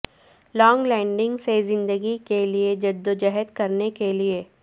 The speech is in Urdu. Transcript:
لونگ لینڈنگ سے زندگی کے لئے جدوجہد کرنے کے لئے